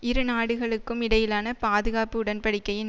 இரு நாடுகளுக்கும் இடையிலான பாதுகாப்பு உடன்படிக்கையின்